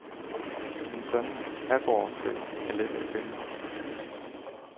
En sådan aborrefælde er let at binde.